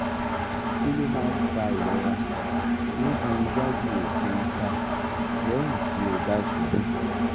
kí ló máa ń fa ìrora níbi waju oke itan lẹ́yìn tí o ba ṣubú?